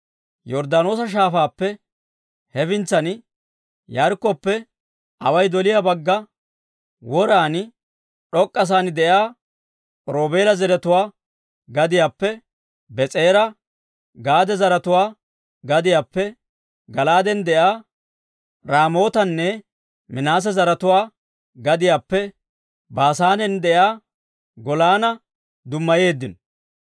Yorddaanoosa Shaafaappe hefintsan, Yaarikkoppe away doliyaa bagga woran, d'ok'k'asaan de'iyaa Roobeela zaratuwaa gadiyaappe Bees'era, Gaade zaratuwaa gadiyaappe Gala'aaden de'iyaa Raamootanne Minaase zaratuwaa gadiyaappe Baasaanen de'iyaa Golaana dummayeeddino.